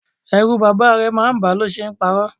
Ẹrù bàbá rẹ̀ máa ń ba a lo ṣe ń paro.